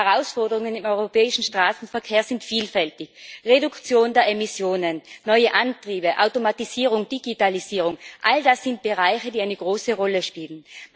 Die Herausforderungen im europäischen Straßenverkehr sind vielfältig Reduktion der Emissionen, neue Antriebe, Automatisierung, Digitalisierung all das sind Bereiche, die eine große Rolle spielen.